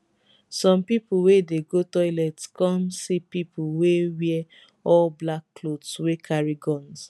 some pipo wey dey go toilet come see pipo wey wear all black clothes wey carry guns